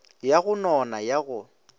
ya go nona ya go